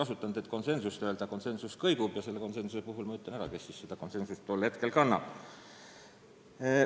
Seekord me päris üksmeelel ei olnud ja hiljem ma märgin, kes teatud küsimuses konsensusel olid.